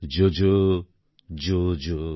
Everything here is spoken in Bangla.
জোজো জো জো